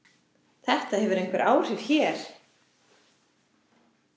Þetta hefur einhver áhrif hér.